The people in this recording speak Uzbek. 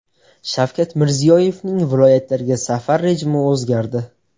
Shavkat Mirziyoyevning viloyatlarga safar rejimi o‘zgardi .